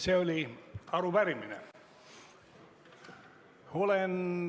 See oli arupärimine.